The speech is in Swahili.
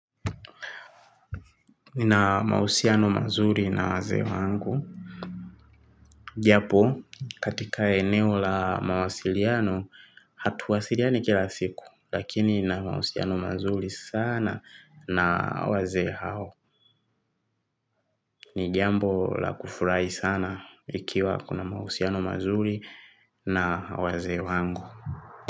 Na mahusiano mazuri na wazee wangu japo katika eneo la mawasiliano hatuwasiliani kila siku. Lakini na mahusiano mazuri sana na wazee hao. Ni jambo la kufurahi sana. Ikiwa kuna mahusiano mazuri na wazee wangu.